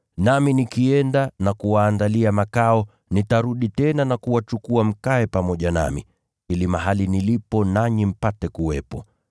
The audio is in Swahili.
Nami nikienda na kuwaandalia makao, nitarudi tena na kuwachukua mkae pamoja nami, ili mahali nilipo, nanyi mpate kuwepo.